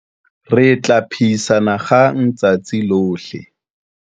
Re tla phehisana kgang letsatsi lohle.